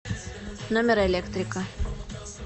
номер электрика